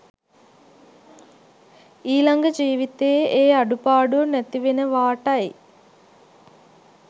ඊළඟ ජීවිතයේ ඒ අඩුපාඩුව නැතිවෙනවාටයි.